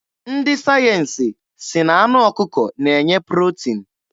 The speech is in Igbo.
Ndị sayensi sị na anụ ọkụkọ na-enye protin.